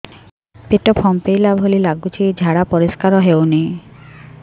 ପେଟ ଫମ୍ପେଇଲା ଭଳି ଲାଗୁଛି ଝାଡା ପରିସ୍କାର ହେଉନି